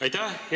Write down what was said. Aitäh!